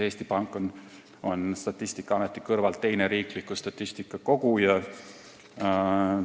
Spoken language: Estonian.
Eesti Pank on Statistikaameti kõrval teine riikliku statistika koguja.